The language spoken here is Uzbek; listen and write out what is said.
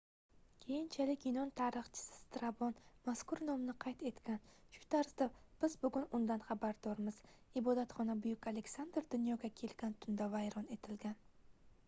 keyinchalik yunon tarixchisi strabon mazkur nomni qayd etgan shu tarzda biz bugun undan xabardormiz ibodatxona buyuk aleksandr dunyoga kelgan tunda vayron etilgan